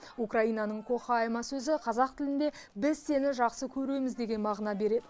украинаның кохаэмо сөзі қазақ тілінде біз сені жақсы көреміз деген мағына береді